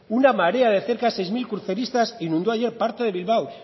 una marea de cerca seis mil cruceristas inundó ayer parte de bilbao